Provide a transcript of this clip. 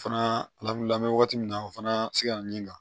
Fana lamunan wagati min na o fana se ka na ni kan